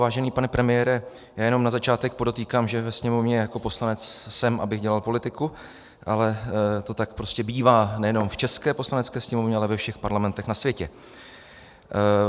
Vážený pane premiére, já jen na začátek podotýkám, že ve Sněmovně jako poslanec jsem, abych dělal politiku, ale to tak prostě bývá nejen v české Poslanecké sněmovně, ale ve všech parlamentech na světě.